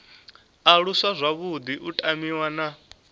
aluswa zwavhuḓi u tamiwa na